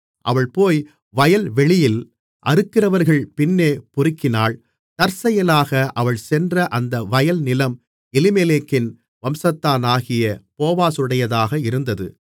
அவள் போய் வயல்வெளியில் அறுக்கிறவர்கள் பின்னே பொறுக்கினாள் தற்செயலாக அவள் சென்ற அந்த வயல்நிலம் எலிமெலேக்கின் வம்சத்தானாகிய போவாசுடையதாக இருந்தது